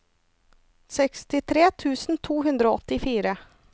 sekstitre tusen to hundre og åttifire